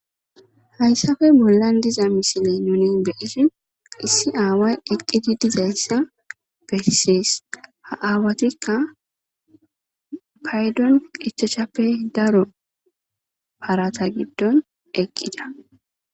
hayssafe bollan diza misile nuni beisi issi aaway eqqidi dizayssa bersees ha aawatikka paydon qechachappe daro parata giddon eqqida